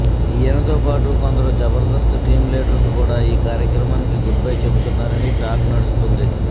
ఈయనతో పాటు కొందరు జబర్దస్త్ టీం లీడర్స్ కూడా ఈ కార్యక్రమానికి గుడ్ బై చెబుతున్నారని టాక్ నడుస్తోంది